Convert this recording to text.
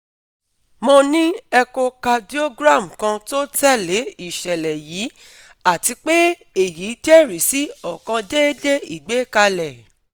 Mo ni echocardiogram kan to tẹle iṣẹlẹ yii ati pe eyi jẹrisi ọkan deede igbekale